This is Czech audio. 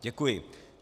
Děkuji.